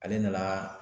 Ale nana